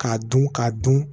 K'a dun k'a dun